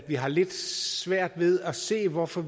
vi har lidt svært ved at se hvorfor